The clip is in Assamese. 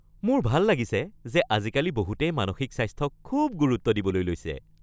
মোৰ ভাল লাগিছে যে আজিকালি বহুতেই মানসিক স্বাস্থ্যক খুব গুৰুত্ব দিবলৈ লৈছে।